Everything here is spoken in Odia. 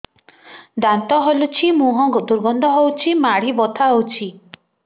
ଦାନ୍ତ ହଲୁଛି ମୁହଁ ଦୁର୍ଗନ୍ଧ ହଉଚି ମାଢି ବଥା ହଉଚି